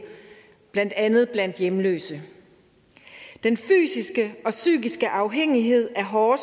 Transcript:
blandt andet blandt hjemløse den fysiske og psykiske afhængighed af hårde